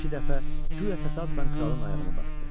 İki dəfə guya təsadüfən kralın ayağını basdı.